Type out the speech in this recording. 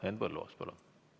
Henn Põlluaas, palun!